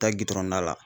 Taa gronna la